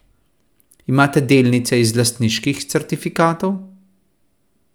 Imate delnice iz lastniških certifikatov?